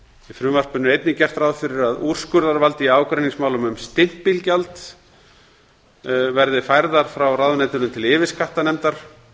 frumvarpinu er einnig gert ráð fyrir að úrskurðarvald í ágreiningsmálum um stimpilgjald verði fært frá ráðuneytinu til yfirskattanefndar